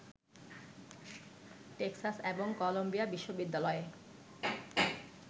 Texas এবং Columbia বিশ্ববিদ্যালয়ের